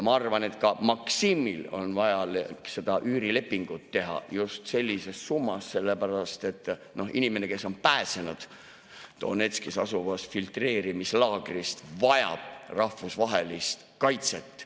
Ma arvan, et ka Maksimil on vaja seda üürilepingut teha just sellises summas, sellepärast et inimene, kes on pääsenud Donetskis asuvast filtreerimislaagrist, vajab rahvusvahelist kaitset.